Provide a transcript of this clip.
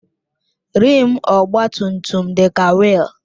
Rịịm ọgba tum tum dị ka wiil